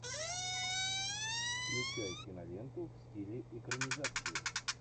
включай киноленту в стиле экранизации